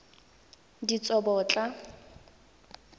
ditsobotla